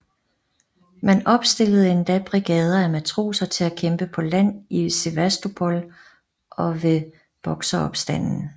Man opstillede endda brigader af matroser til at kæmpe på land i Sevastopol og ved Bokseropstanden